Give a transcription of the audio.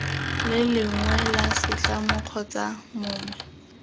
lengwe la setlamo kgotsa mongwe